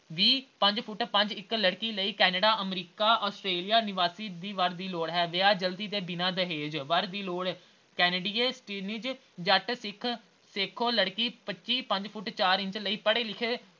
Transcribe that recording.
ਵੀਹ ਪੰਜ ਫੁੱਟ ਪੰਜ ਇੱਕ ਲੜਕੀ ਲਈ ਕਨੇਡਾ, ਅਮਰੀਕਾ, ਅਸਟੇਰੀਆ ਨਿਵਾਸੀ ਦੀ ਅਹ ਵਰ ਦੀ ਲੋੜ ਹੈ ਵਿਆਹ ਜਲਦੀ ਬਿਨਾਂ ਦਹੇਜ। ਵਰ ਦੀ ਲੋੜ canadian citizen ਜੱਟ ਸਿੱਖ ਸੇਖੋਂ ਲੜਕੀ ਪੰਚੀ ਪੰਜ ਫੁੱਟ ਚਾਰ ਇੰਚ ਲਈ ਪੜ੍ਹੇ-ਲਿਖੇ